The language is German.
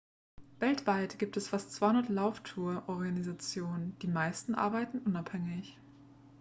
weltweit gibt es fast 200 lauftouren-organisationen die meisten arbeiten unabhängig